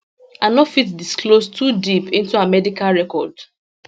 i no fit disclose too deep into her medical record